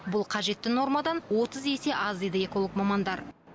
бұл қажетті нормадан отыз есе аз дейді эколог мамандар